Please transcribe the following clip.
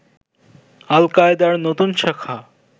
আল-কায়েদার নতুন শাখা